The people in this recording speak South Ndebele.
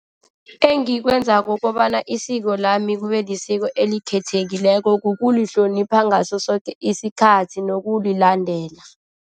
Engikwenzako kobana isiko lami kube lisiko elikhethekileko kukulihlonipha ngaso soke isikhathi nokulilandela.